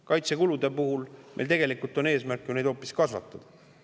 Kaitsekulude puhul on meil tegelikult eesmärk neid hoopis kasvatada.